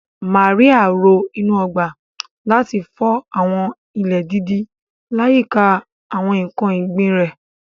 Màríà ro inú ọgbà, láti fọ àwọn ilẹ̀ dídì láyìíká àwọn ǹkan ọ̀gbìn rẹ̀.